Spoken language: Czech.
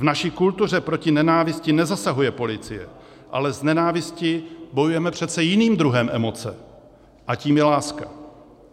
V naší kultuře proti nenávisti nezasahuje policie, ale s nenávistí bojujeme přece jiným druhem emoce a tím je láska.